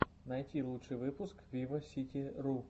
найти лучший выпуск виваситиру